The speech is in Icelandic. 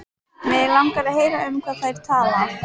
Mig langar að heyra um hvað þær tala.